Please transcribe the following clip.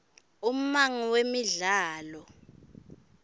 ummango wemidlalo